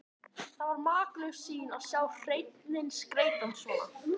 Það var makalaus sýn að sjá hreininn skreyttan svona.